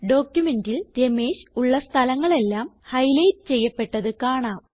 ഡോക്യുമെന്റിൽ രമേഷ് ഉള്ള സ്ഥലങ്ങളെല്ലാം ഹൈലൈറ്റ് ചെയ്യപ്പെട്ടത് കാണാം